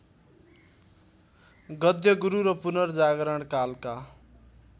गद्यगुरु र पुनर्जागरणकालका